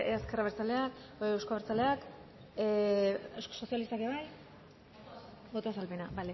euzko abertzaleak euskal sozialistak ere bai